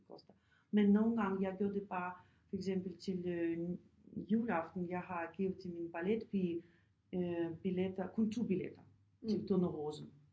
Det koster men nogle gange jeg gør det bare for eksempel til juleaften jeg har givet til min balletpige billetter kun to billetter til Tornerose